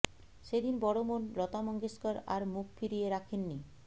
সেদিন বড় বোন লতা মঙ্গেশকর আর মুখ ফিরিয়ে রাখেননি